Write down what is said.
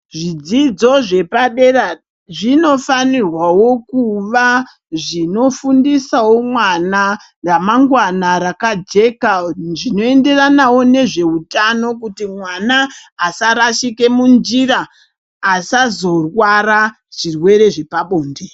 Zvidzidzo zvepadera zvinofanirwawo kuva zvinofundisawo mwana ramangwana rakajeka zvinoenderanawo nezveutano kuti mwana asarashike munjira asazorwara zvirwere zvepabonde.